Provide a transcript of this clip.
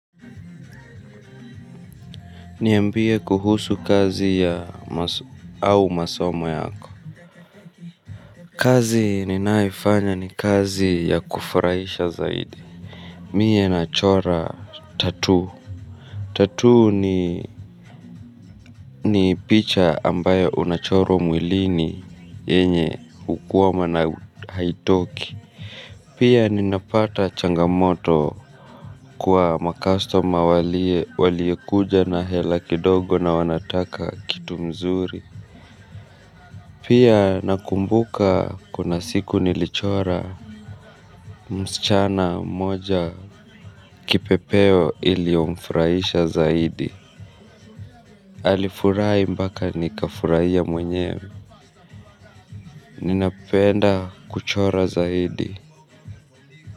Niambie kuhusu kazi au masomo yako. Kazi ninayoifanya ni kazi ya kufurahisha zaidi. Mie nachora tatuu. Tatuu ni picha ambayo unachorwa mwilini yenye hukuwama na haitoki. Pia ninapata changamoto kwa makastoma waliokuja na hela kidogo na wanataka kitu mzuri. Pia nakumbuka kuna siku nilichora msichana mmoja kipepeo iliyomfurahisha zaidi. Alifurahi mpaka nikafurahia mwenyewe. Ninapenda kuchora zaidi.